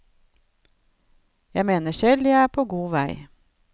Jeg mener selv jeg er på god vei.